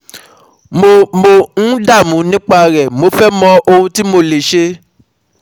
Mo Mo ń dáàmú nípa rẹ̀, mo fẹ́ mọ̀ ohun tí mo lè ṣe